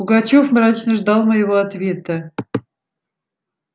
пугачёв мрачно ждал моего ответа